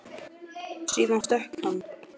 Síðan stökk hann.